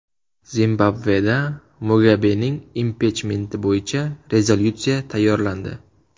Zimbabveda Mugabening impichmenti bo‘yicha rezolyutsiya tayyorlandi.